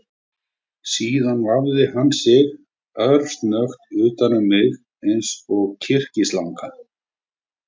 Síðan vafði hann sig örsnöggt utan um mig eins og kyrkislanga